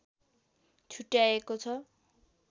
छुट्याइएको छ